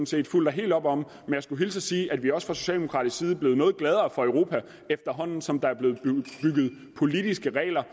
set fuldt og helt op om men jeg skulle hilse og sige at vi også fra socialdemokratisk side er blevet noget gladere for europa efterhånden som der er blevet bygget politiske regler